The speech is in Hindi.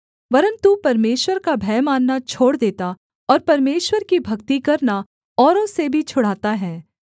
वरन् तू परमेश्वर का भय मानना छोड़ देता और परमेश्वर की भक्ति करना औरों से भी छुड़ाता है